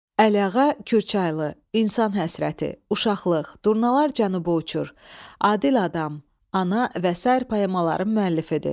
Əliağa Kürçaylı İnsan həsrəti, Uşaqlıq, Durnalar cənubu uçur, Adil Adam, Ana və sair poemaların müəllifidir.